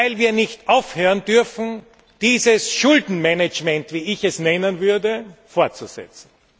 Das deshalb, weil wir nicht aufhören dürfen, dieses Schuldenmanagement, wie ich es nennen würde, fortzusetzen!